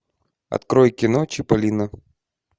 открой кино чиполлино